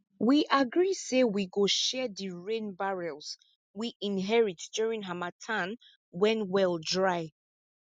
we agree say we go share di rain barrels we inherit during harmattan when well dry